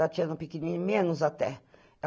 Tatiana pequenininha, menos até.